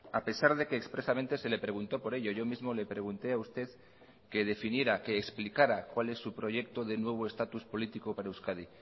a pesar de que expresamente se le preguntó por ello yo mismo le pregunté a usted que definiera que explicara cuál es su proyecto de nuevo estatus político para euskadi